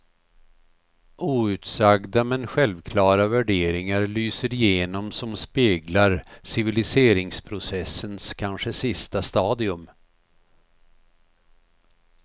Outsagda men självklara värderingar lyser igenom som speglar civiliseringsprocessens kanske sista stadium.